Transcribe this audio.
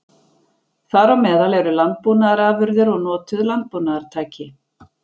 Þar á meðal eru landbúnaðarafurðir og notuð landbúnaðartæki.